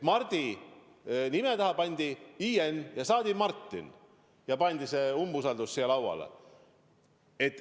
Mardi nime taha lisati -in, saadi Martin ja pandi see umbusaldusavaldus siia lauale.